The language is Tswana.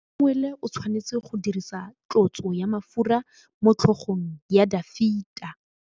Samuele o tshwanetse go dirisa tlotsô ya mafura motlhôgong ya Dafita.